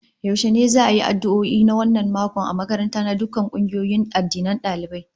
Yaushe ne za'a yi addu'o'i na wannan mako a makaranta na dukkan kungiyoyin addinan dalibai?